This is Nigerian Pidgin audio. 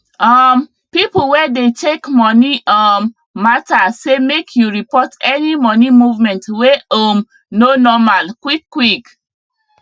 um people wey dey check money um matter say make you report any money movement wey um no normal quick quick